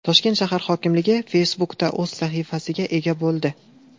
Toshkent shahar hokimligi Facebook’da o‘z sahifasiga ega bo‘ldi .